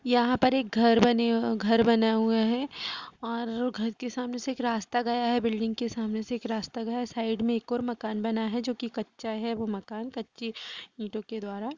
यहाँ पर एक घर बने अ बना हुआ है और घर क सामने से एक रास्ता गया है । बिल्डिंग के सामने से एक रास्ता गया है । साइड में एक और मकान बना है जो की कच्चा है | वह मकान कच्ची ईंटो के द्वारा --